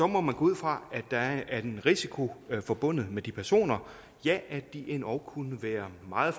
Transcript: må man gå ud fra og at der er en risiko forbundet med de personer ja at de endog kunne være meget